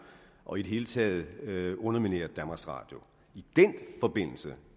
og i det hele taget undermineret danmarks radio i den forbindelse